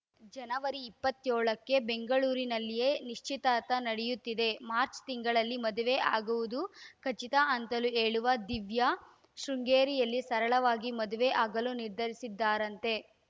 ಜನವರಿ ಇಪ್ಪತ್ಯೋಳಕ್ಕೆ ಬೆಂಗಳೂರಿನಲ್ಲಿಯೇ ನಿಶ್ಚಿತಾರ್ಥ ನಡೆಯುತ್ತಿದೆ ಮಾರ್ಚ್ ತಿಂಗಳಲ್ಲಿ ಮದುವೆ ಆಗುವುದು ಖಚಿತ ಅಂತಲೂ ಹೇಳುವ ದಿವ್ಯಾ ಶೃಂಗೇರಿಯಲ್ಲಿ ಸರಳವಾಗಿ ಮದುವೆ ಆಗಲು ನಿರ್ಧರಿಸಿದ್ದಾರಂತೆ